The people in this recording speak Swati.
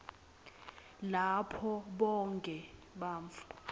lapho bonkhe bantfu